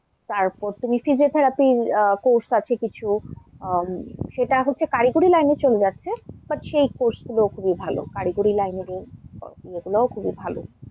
তারপর তুমি physiotherapy course আছে কিছু, আহ সেটা হচ্ছে কারিগরী line এ চলে যাচ্ছে, But সেই course গুলো খুবই ভাল, কারিগরী line এর এ গুলো খুবই ভাল।